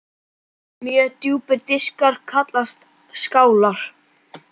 Mjög djúpir diskar kallast skálar.